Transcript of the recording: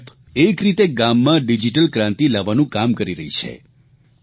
આ એપ એક રીતે ગામમાં ડીજીટલ ક્રાંતિ લાવવાનું કામ કરી રહી છે